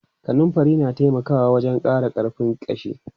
Kanunfari na taimaka wajen ƙara ƙarfin ƙashi.